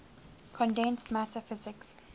condensed matter physics